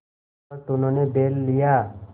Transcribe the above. जिस वक्त उन्होंने बैल लिया